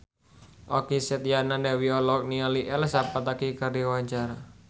Okky Setiana Dewi olohok ningali Elsa Pataky keur diwawancara